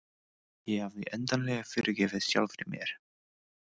Ég hafði endanlega fyrirgefið sjálfri mér.